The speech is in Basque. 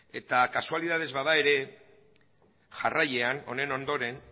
eta kasualidadez bada ere jarraian honen ondoren